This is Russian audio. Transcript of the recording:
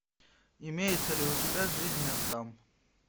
имеется ли у тебя жизнь отдам